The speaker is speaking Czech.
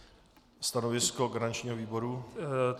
Stanovisko garančního výboru?